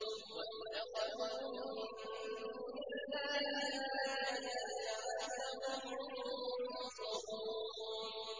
وَاتَّخَذُوا مِن دُونِ اللَّهِ آلِهَةً لَّعَلَّهُمْ يُنصَرُونَ